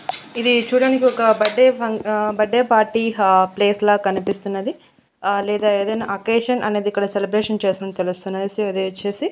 ఇది చూడానికి ఒక బడ్డే ఫన్ ఆ బర్త్డే పార్టీ హా ప్లేస్ లా కనిపిస్తున్నది ఆ లేదా ఏదైనా అకేషన్ అనేది ఇక్కడ సెలబ్రేషన్ చేస్తున్న తెలుస్తున్నది సో ఇది వచ్చేసి--